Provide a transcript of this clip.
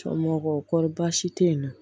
Cɔmɔgɔw kɔrɔ baasi tɛ yen nɔ